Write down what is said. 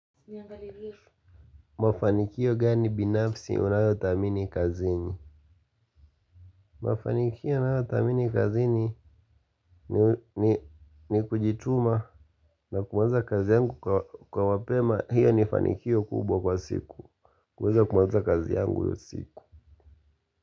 Mafanikio gani binafsi unayothamini kazini. Mafanikio nayothamini kazini ni kujituma na kuanza kazi yangu kwa wapema. Hiyo ni fanikio kubwa kwa siku. Kuweza kumaliza kazi yangu io siku.